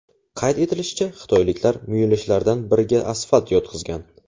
Qayd etilishicha, xitoyliklar muyulishlardan biriga asfalt yotqizgan.